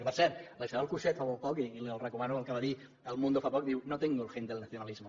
que per cert la isabel coixet fa molt poc i els recomano el que va dir a el mundo fa poc diu no tengo el gen del nacionalismo